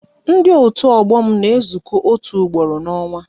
Ndị otu ọgbọ m na-ezuko otu ugboro n'onwa